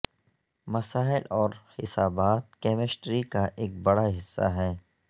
مسائل اور حسابات کیمسٹری کا ایک بڑا حصہ ہیں